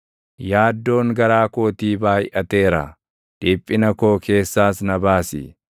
Yaaddoon garaa kootii baayʼateera; dhiphina koo keessaas na baasi.